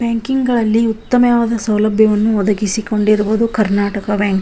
Banking ಗಳಲ್ಲಿ ಉತ್ತಮವಾದ ಸೌಲಭ್ಯಗಳನ್ನು ಒದಗಿಸಿ ಕೊಂಡಿರುವುದು ಕರ್ನಾಟಕ ಬ್ಯಾಂಕ್ .